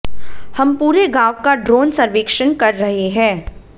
हम पूरे गाँव का ड्रोन सर्वेक्षण कर रहे हैं